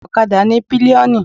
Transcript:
Okada ní pilioni.